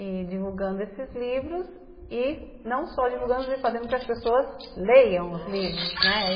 e divulgando esses livros, e não só divulgando, mas fazendo com que as pessoas leiam os livros, né?